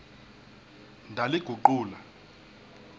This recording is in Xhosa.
ndaliguqula